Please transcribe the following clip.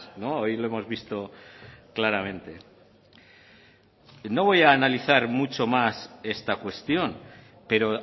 no hoy lo hemos visto claramente no voy a analizar mucho más esta cuestión pero